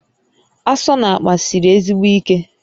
Asọ n'akpa siri ezigbo ike